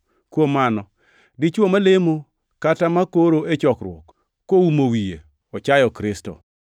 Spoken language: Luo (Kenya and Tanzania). Kuom mano, dichwo malemo kata makoro e chokruok koumo wiye ochayo Kristo.